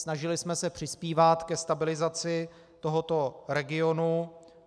Snažili jsme se přispívat ke stabilizaci tohoto regionu.